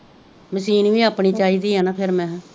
machine ਵੀ ਆਪਣੀ ਚਾਹੀਦੀ ਆ ਨਾ ਫੇਰ ਮਹਾ